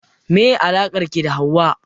Meye alakar ki da Hauwa?